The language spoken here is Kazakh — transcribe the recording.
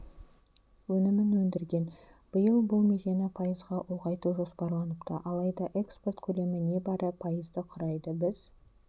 өнімін өндірген биыл бұл межені пайызға ұлғайту жоспарланыпты алайда экспорт көлемі небары пайызды құрайды біз